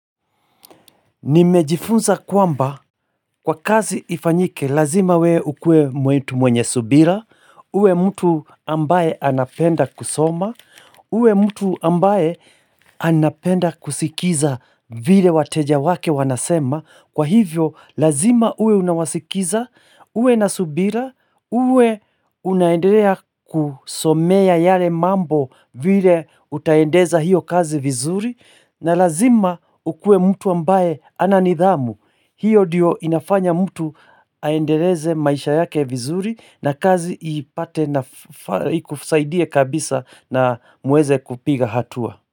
Nimejifunza kwamba kwa kazi ifanyike lazima we ukue mtu mwenye subira, uwe mtu ambaye anapenda kusoma, uwe mtu ambaye anapenda kusikiza vile wateja wake wanasema. Kwa hivyo lazima uwe unawasikiza, uwe na subira, uwe unaendelea kusomea yale mambo vile utaendeza hiyo kazi vizuri na lazima ukue mtu ambaye ananidhamu, hiyo diyo inafanya mtu aendeleze maisha yake vizuri na kazi ipate na ikusaidie kabisa na muweze kupiga hatua.